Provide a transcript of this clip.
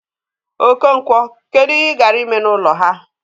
Okonkwo, kedu ihe ị gara ime n'ụlọ ha?